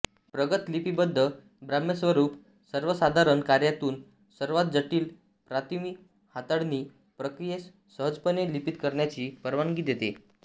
प्रगत लिपीबद्ध बाह्यस्वरूप सर्वसाधारण कार्यातून सर्वात जटिल प्रतिमा हाताळणी प्रक्रियेस सहजपणे लिपीत करण्याची परवानगी देते